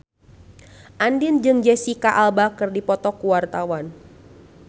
Andien jeung Jesicca Alba keur dipoto ku wartawan